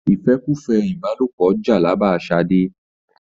ìfẹ́kùfẹ́ ìbálòpọ jàlàbá Ṣadé.